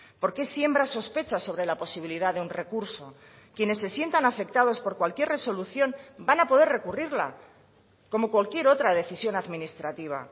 por qué siembra sospechas sobre la posibilidad de un recurso quienes se sientan afectados por cualquier resolución van a poder recurrirla como cualquier otra decisión administrativa